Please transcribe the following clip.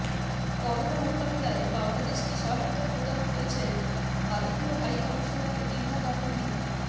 corona মোকাবিলায় বাংলাদেশকে সহায়তা প্রদান করছেন ভারতীয় হাই কমিশনার রীভা গাঙ্গুলি